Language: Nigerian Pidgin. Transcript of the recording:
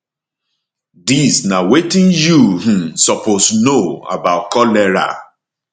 dis na wetin you um suppose know about cholera